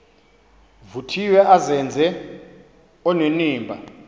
vuthiwe azenze onenimba